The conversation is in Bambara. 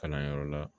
Kalanyɔrɔ la